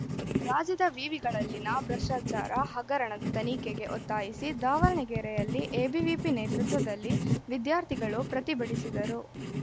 ರಾಜ್ಯದ ವಿವಿಗಳಲ್ಲಿನ ಭ್ರಷ್ಟಾಚಾರ ಹಗರಣದ ತನಿಖೆಗೆ ಒತ್ತಾಯಿಸಿ ದಾವಣಗೆರೆಯಲ್ಲಿ ಎಬಿವಿಪಿ ನೇತೃತ್ವದಲ್ಲಿ ವಿದ್ಯಾರ್ಥಿಗಳು ಪ್ರತಿಭಟಿಸಿದರು